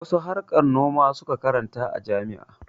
Wasu harkar noma su ka karanta a jami'a.